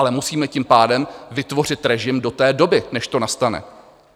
Ale musíme tím pádem vytvořit režim do té doby, než to nastane.